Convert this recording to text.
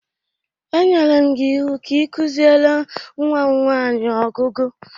Enyere m gi iwu ka i kuziere nwam nwanyi ọgụgụ!